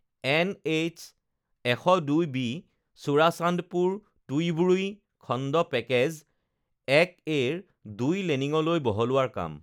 NH ১০২ B Churachandpur Tuivai খণ্ড package ১এ ৰ ২ লেনিং লৈ বহলোৱাৰ কাম